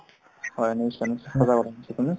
হয় নিশ্চয় নিশ্চয় সঁচা কথা কৈছা তুমি